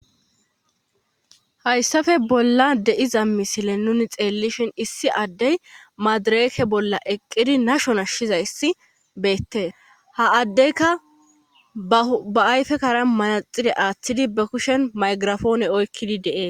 hayssafe bollan de'iza misile nuni xeellishin issi addey maadireeke bolla eqqidi nashon ashshizayssi beette ha addeyka ba ayfe kara maaxire aaththidi ba kushen maygirafoone oykkidi de7es